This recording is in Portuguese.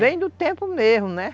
Vem do tempo mesmo, né?